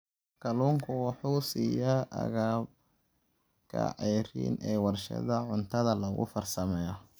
Kalluunku waxa uu siiya agabka ceeriin ee warshadaha cuntada lagu farsameeyo.